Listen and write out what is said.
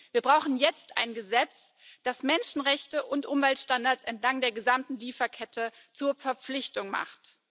Wir brauchen jetzt ein Gesetz, das Menschenrechte und Umweltstandards entlang der gesamten Lieferkette zur Verpflichtung macht.